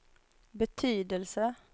betydelse